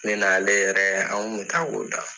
Ne n'ale yɛrɛ an kun be taa o da.